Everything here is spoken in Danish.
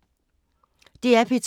DR P2